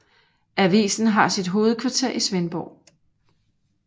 Avisen har sit hovedkvarter i Svendborg